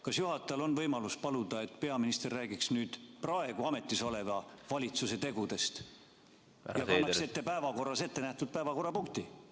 Kas juhatajal on võimalus paluda, et peaminister räägiks nüüd praegu ametis oleva valitsuse tegudest ja kannaks ette päevakorras ette nähtud päevakorrapunkti?